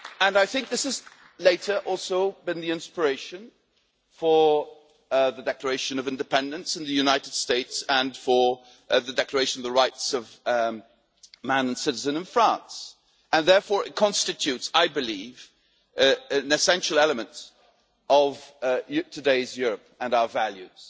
I think this has later also been the inspiration for the Declaration of Independence in the United States and for the Declaration of the Rights of Man and of the Citizen in France, and therefore it constitutes, I believe, an essential element of today's Europe and our values.